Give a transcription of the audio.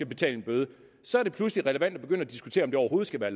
betale en bøde så er det pludselig relevant at begynde at diskutere om det overhovedet skal være